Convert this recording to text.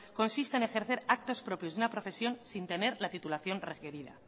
consiste en ejercer actos propios de una profesión sin tener la titulación requerida